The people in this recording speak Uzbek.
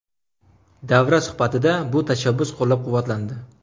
Davra suhbatida bu tashabbus qo‘llab-quvvatlandi.